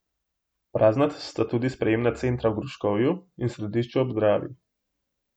Prazna sta tudi sprejemna centra v Gruškovju in Središču ob Dravi.